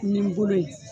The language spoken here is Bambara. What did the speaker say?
Ni n bolo ye